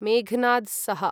मेघनाद् सह